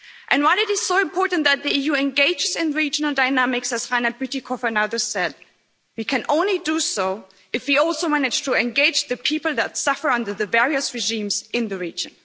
And while it is so important that the EU engages in regional dynamics, as Reinhard Bütikofer said, we can only do so if we also manage to engage the people that suffer under the various regimes in the region.